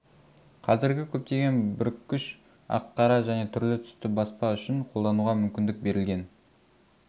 қазіргі көптеген бүріккіш ақ-қара және түрлі-түсті баспа үшін қолдануға мүмкіндік берілген